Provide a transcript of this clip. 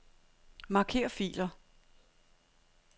Marker filer.